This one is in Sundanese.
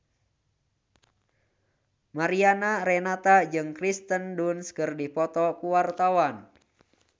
Mariana Renata jeung Kirsten Dunst keur dipoto ku wartawan